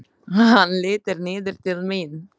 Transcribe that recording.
Hann lítur niður til mín.